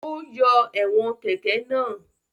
Ó yọ ẹ̀wọ̀n kẹ̀kẹ́ náà.